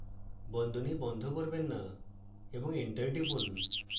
বন্ধনী বন্ধ করবেন না এবং enter টিপুন